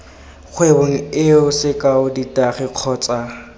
kgwebong eo sekao ditagi kgotsa